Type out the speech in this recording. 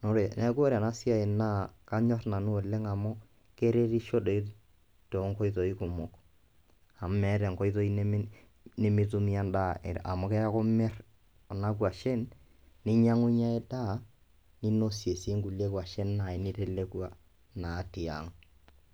Naa ore neeku ore ena siai naa kanyor nanu oleng' amu keretisho doi too nkoitoi kumok amu meeta enkoitoi nemi nemitumie endaa amu keeku imir kuna kwashen ninyang'unye endaa, ninosie sii nkulie kwashen nitelekua naa tiang'.